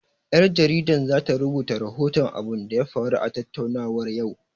Ƴar jaridan zata rubuta rahoton abunda ya faru a tattaruwar yau